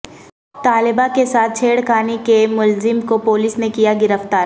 طالبہ کے ساتھ چھیڑ خانی کے ملزم کو پولس نے کیا گرفتار